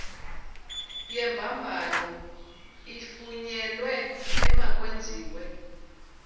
yembambano ifunyenwe emakwenziwe